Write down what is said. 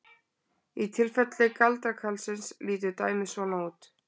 Í tilfelli galdrakarlsins lítur dæmið svona út: